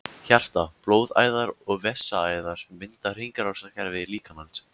Hjarta, blóðæðar og vessaæðar mynda hringrásarkerfi líkamans.